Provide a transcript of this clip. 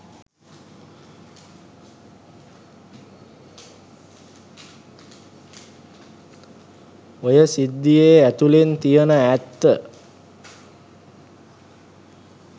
ඔය සිද්දියේ ඇතුලෙන් තියෙන ඇත්ත.